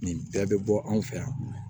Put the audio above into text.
Nin bɛɛ bɛ bɔ anw fɛ yan